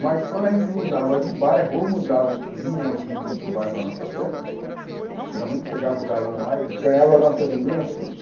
Mas quando a gente mudava de bairro ou mudavam, vinha alguém de outro bairro na nossa festa, geralmente chegava o galã lá e ganhava a nossas meninas toda.